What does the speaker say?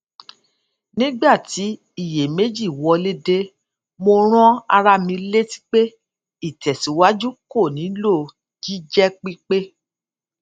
nígbà tí iyèméjì wọlé dé mo rán ara mi létí pé ìtẹsíwájú kò nílò jíjépípé